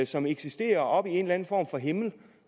som eksisterer oppe i en eller anden form for himmel